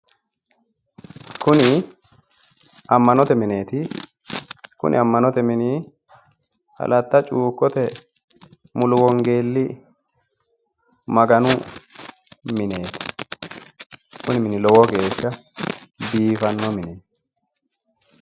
Kuni ammanote mineeti kuni ammanote mini alatta cuukote mulu wongeelli maganu mineeti kuni mini lowo geeshsha biifanno mineeti.